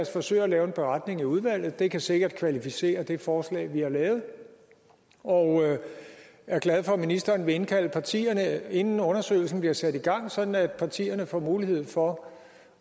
forsøge at lave en beretning i udvalget det kan sikkert kvalificere det forslag vi har lavet og jeg er glad for at ministeren vil indkalde partierne inden undersøgelsen bliver sat i gang sådan at partierne får mulighed for